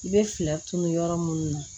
I bɛ fɛɛrɛ tun yɔrɔ minnu na